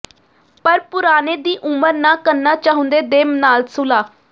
ਪਰ ਪੁਰਾਣੇ ਦੀ ਉਮਰ ਨਾ ਕਰਨਾ ਚਾਹੁੰਦੇ ਦੇ ਨਾਲ ਸੁਲ੍ਹਾ